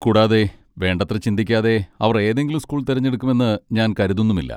കൂടാതെ, വേണ്ടത്ര ചിന്തിക്കാതെ അവർ ഏതെങ്കിലും സ്കൂൾ തിരഞ്ഞെടുക്കുമെന്ന് ഞാൻ കരുതുന്നുമില്ല.